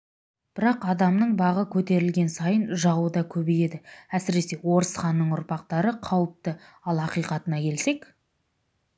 бірақ адамның бағы көтерілген сайын жауы да көбейеді әсіресе орыс ханның ұрпақтары қауіпті ал ақиқатына келсек